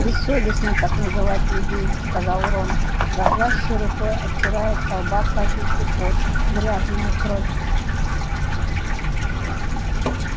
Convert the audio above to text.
бессовестно так называть людей сказал рон дрожащей рукой отирая со лба капельки пота грязная кровь